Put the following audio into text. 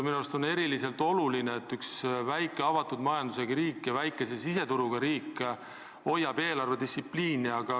Minu arust on eriti oluline, et üks väike avatud majandusega riik ja väikese siseturuga riik hoiab eelarvedistsipliini.